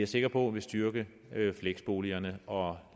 sikker på vil styrke fleksboligerne og